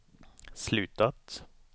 slutat